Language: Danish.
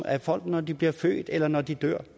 af folk når de bliver født eller når de dør